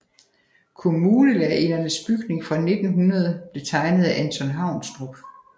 Kommunelærerindernes bygning fra 1900 blev tegnet af Anton Haunstrup